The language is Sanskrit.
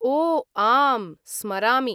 ओ आम्, स्मरामि।